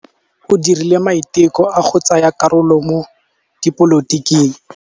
O dirile maitekô a go tsaya karolo mo dipolotiking.